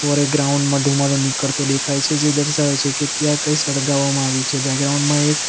ઉપર એક ગ્રાઉન્ડ માં ધુમાડો નીકળતો દેખાય છે જે દર્શાવે છે કે ત્યાં કઈ સળગાવવામાં આવ્યું છે બેગ્રાઉન્ડ માં એક --